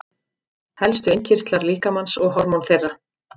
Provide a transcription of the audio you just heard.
Helstu innkirtlar líkamans og hormón þeirra.